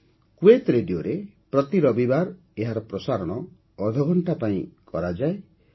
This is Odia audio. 'କୁଏତ୍ ରେଡିଓ'ରେ ପ୍ରତି ରବିବାର ଏହାର ପ୍ରସାରଣ ଅଧଘଣ୍ଟା ପାଇଁ କରାଯାଏ